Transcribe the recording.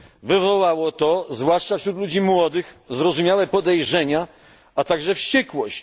Wywołało to, zwłaszcza wśród ludzi młodych, zrozumiałe podejrzenia, a także wściekłość.